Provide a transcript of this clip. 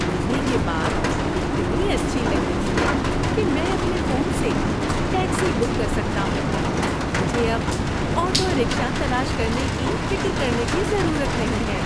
مجھے یہ بات اتنی اچھی لگ رہی ہے کہ میں اپنے فون سے ٹیکسی بک کر سکتا ہوں۔ مجھے اب آٹو رکشہ تلاش کرنے کی فکر کرنے کی ضرورت نہیں ہے۔